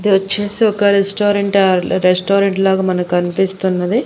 ఇది వచ్చేసి ఒక రెస్టారెంట్ స్టాల్ రెస్టారెంట్ లాగా మనకు కనిపిస్తున్నది.